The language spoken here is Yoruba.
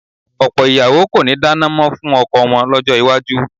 Ọ̀pọ̀ ìyàwó kò ní dáná mọ́ fún ọkọ wọn lọ́jọ́ iwájú